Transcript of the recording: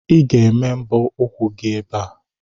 Ị ga-eme mbọ ụkwụ gị ebe a!